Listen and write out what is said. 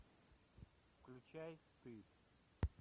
включай стыд